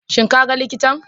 Shin kaga likitan?